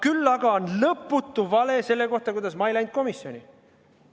Küll aga on lõputu vale selle kohta, kuidas ma ei läinud komisjoni.